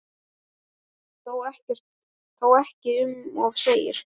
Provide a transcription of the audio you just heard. Þó ekki um of segir